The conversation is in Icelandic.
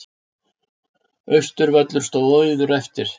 Austurvöllur stóð auður eftir.